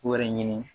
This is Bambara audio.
Wɛrɛ ɲini